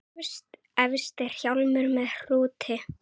Efst er hjálmur með hrúti.